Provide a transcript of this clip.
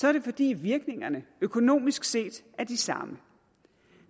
er det fordi virkningerne økonomisk set er de samme